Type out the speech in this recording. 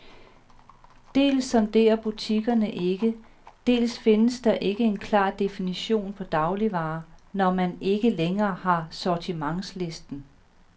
Dels sondrer butikkerne ikke, dels findes der ikke en klar definition på dagligvarer, når man ikke længere har sortimentslisten.